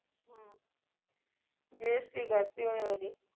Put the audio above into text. ਬੇਸਤੀ ਕਰਤੀ ਉਹਨੇ ਮੇਰੀ